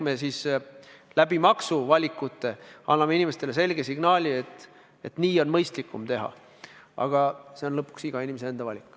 Nende maksuvalikutega me anname inimestele selge signaali, et nii on mõistlikum teha, aga lõpuks on kõik iga inimese enda valik.